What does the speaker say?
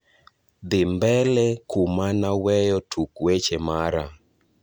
dhi mbele kuma na weyo tuk weche mara